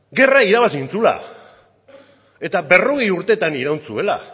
gerra irabazi egin zuela eta berrogei urtetan iraun zuela